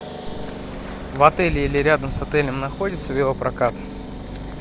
в отеле или рядом с отелем находится велопрокат